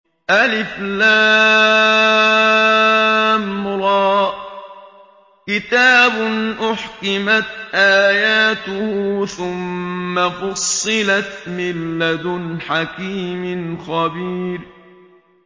الر ۚ كِتَابٌ أُحْكِمَتْ آيَاتُهُ ثُمَّ فُصِّلَتْ مِن لَّدُنْ حَكِيمٍ خَبِيرٍ